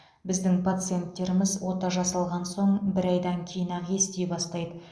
біздің пациенттеріміз ота жасалған соң бір айдан кейін ақ ести бастайды